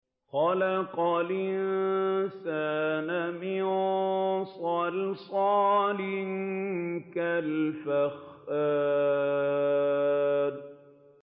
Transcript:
خَلَقَ الْإِنسَانَ مِن صَلْصَالٍ كَالْفَخَّارِ